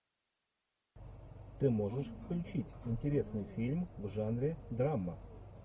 ты можешь включить интересный фильм в жанре драма